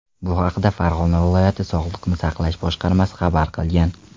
Bu haqda Farg‘ona viloyati sog‘liqni saqlash boshqarmasi xabar qilgan .